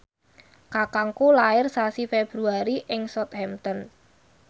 kakangku lair sasi Februari ing Southampton